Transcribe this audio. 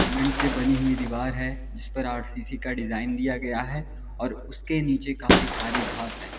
Cement से बनी हुई दीवार है इस पर आर_सी_सी का डिजाइन दिया गया है और उसके नीचे काफी सारी घास है।